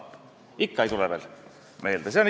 " Kas ikka ei tule veel meelde?